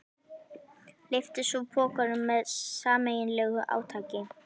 Lyftu svo pokanum með sameiginlegu átaki.